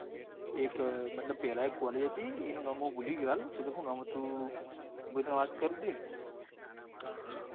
એક મતલબ પેલા એક cally હતી એનું નામ મુ ભૂલી ગયો હાલ સી ખબર શું નામ હતું? મેં તને વાત કરી હતી ન